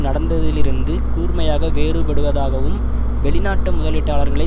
நடந்ததிலிருந்து கூர்மையாக வேறுபடுவதாகும் வெளிநாட்டு முதலீட்டாளர்களை